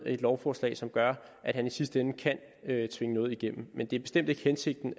et lovforslag som gør at han i sidste ende kan tvinge noget igennem men det er bestemt ikke hensigten